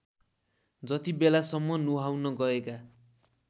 जतिबेलासम्म नुहाउन गएका